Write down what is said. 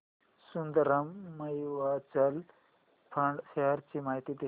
Sundaram mutual fund shares ची माहिती दे